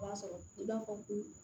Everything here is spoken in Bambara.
O b'a sɔrɔ i b'a fɔ ko